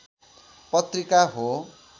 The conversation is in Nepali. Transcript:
पत्रिका हो।